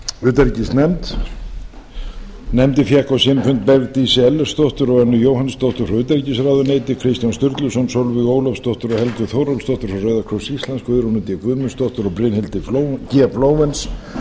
utanríkisnefnd nefndin fékk á sinn fund bergdísi ellertsdóttur og önnu jóhannsdóttur frá utanríkisráðuneyti kristján sturluson sólveigu ólafsdóttur og helgu þórólfsdóttur frá rauða krossi íslands guðrúnu d guðmundsdóttur og brynhildi g flóvenz